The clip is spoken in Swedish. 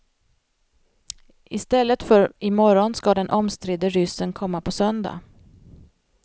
I stället för imorgon ska den omstridde ryssen komma på söndag.